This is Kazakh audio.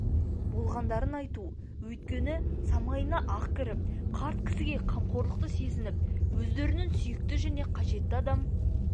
болғандарын айту өйткені самайына ақ кіріп қарт кісіге қамқорлықты сезініп өздерінің сүйікті және қажетті адам